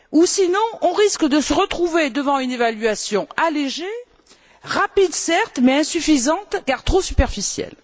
Sinon, on risquerait de se retrouver face à une évaluation allégée, rapide certes, mais insuffisante car trop superficielle.